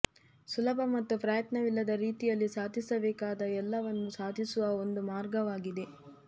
ಸುಲಭ ಮತ್ತು ಪ್ರಯತ್ನವಿಲ್ಲದ ರೀತಿಯಲ್ಲಿ ಸಾಧಿಸಬೇಕಾದ ಎಲ್ಲವನ್ನೂ ಸಾಧಿಸುವ ಒಂದು ಮಾರ್ಗವಾಗಿದೆ